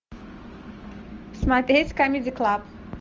смотреть камеди клаб